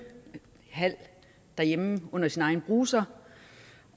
derhjemme under sin egen bruser